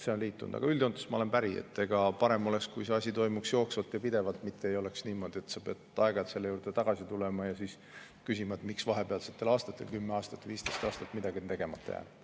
Aga üldjoontes ma olen päri, et parem oleks, kui see asi toimuks jooksvalt ja pidevalt, mitte ei oleks niimoodi, et sa pead aeg-ajalt selle juurde tagasi tulema ja küsima, miks vahepealsetel aastatel, 10–15 aastat midagi on tegemata jäänud.